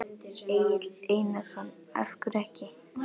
Egill Einarsson: Af hverju ekki?